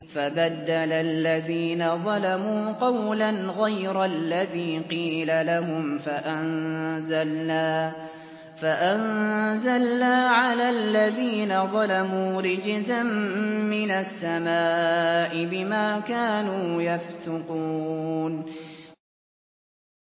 فَبَدَّلَ الَّذِينَ ظَلَمُوا قَوْلًا غَيْرَ الَّذِي قِيلَ لَهُمْ فَأَنزَلْنَا عَلَى الَّذِينَ ظَلَمُوا رِجْزًا مِّنَ السَّمَاءِ بِمَا كَانُوا يَفْسُقُونَ